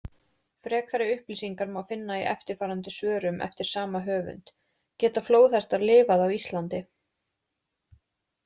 Frekari upplýsingar má finna í eftirfarandi svörum eftir sama höfund: Geta flóðhestar lifað á Íslandi?